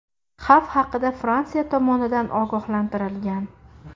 Xavf haqida Fransiya tomonidan ogohlantirilgan.